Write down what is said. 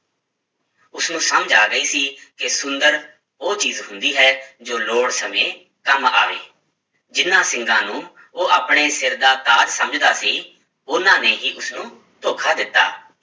ਉਸਨੂੰ ਸਮਝ ਆ ਗਈ ਸੀ ਕਿ ਸੁੰਦਰ ਉਹ ਚੀਜ਼ ਹੁੰਦੀ ਹੈ ਜੋ ਲੋੜ ਸਮੇਂ ਕੰਮ ਆਵੇ, ਜਿਹਨਾਂ ਸਿੰਗਾਂ ਨੂੰ ਉਹ ਆਪਣੇ ਸਿਰ ਦਾ ਤਾਜ ਸਮਝਦਾ ਸੀ, ਉਹਨਾਂ ਨੇ ਹੀ ਉਸਨੂੰ ਧੋਖਾ ਦਿੱਤਾ,